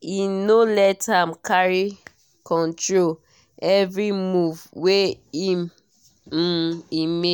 e no let am carry control every move wey um e make.